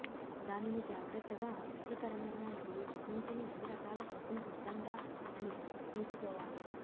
దానిని జాగ్రత్తగా అసహ్యకరమైన మరియు ఊహించని అన్ని రకాల కోసం సిద్ధంగా అని తీసుకోవాలి